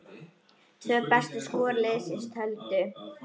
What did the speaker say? Tvö bestu skor liðsins töldu.